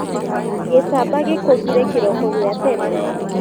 Gicamba gĩkũgire kĩroko gia tene.